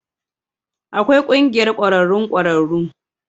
Akwai Ƙungiyar Ƙwararrun Ƙwararru